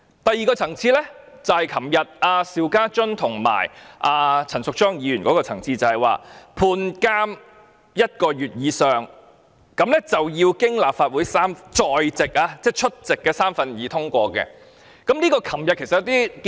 第二個情況適用於昨天邵家臻議員和陳淑莊議員的情況，就是判監一個月以上，就要經過立法會在席的三分之二議員通過。